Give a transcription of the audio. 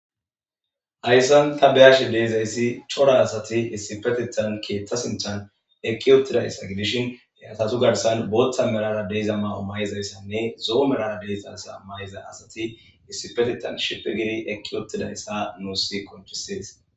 Hayssan ta bea'she dizzayssi coora assathi issippethethan keeththa sinthan eqiwotidayssa gidishin ha assata garsan booththa merara de'zayssa mayyo mayizayssanne zoo merara de'zayssa mayiza assathi issippethethan shiphi gidi eqiwotidayssa nussi qoncisess.